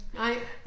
Nej